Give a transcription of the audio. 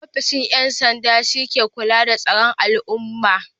Ofishin 'yan sanda shi ke kula da tsaron al'umma.